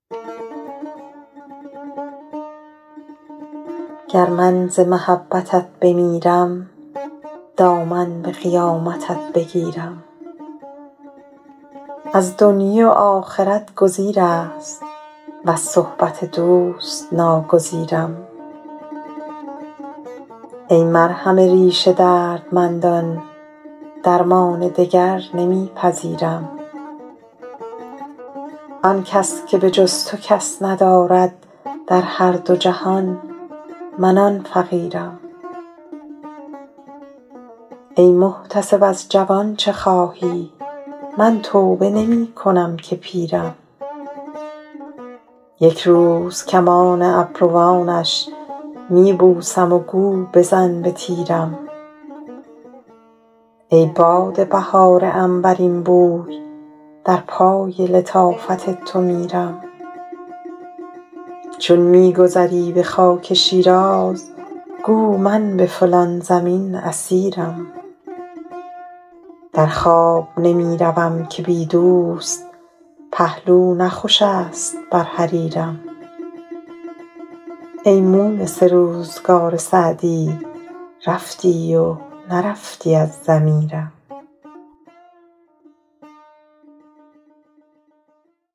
گر من ز محبتت بمیرم دامن به قیامتت بگیرم از دنیی و آخرت گزیر است وز صحبت دوست ناگزیرم ای مرهم ریش دردمندان درمان دگر نمی پذیرم آن کس که به جز تو کس ندارد در هر دو جهان من آن فقیرم ای محتسب از جوان چه خواهی من توبه نمی کنم که پیرم یک روز کمان ابروانش می بوسم و گو بزن به تیرم ای باد بهار عنبرین بوی در پای لطافت تو میرم چون می گذری به خاک شیراز گو من به فلان زمین اسیرم در خواب نمی روم که بی دوست پهلو نه خوش است بر حریرم ای مونس روزگار سعدی رفتی و نرفتی از ضمیرم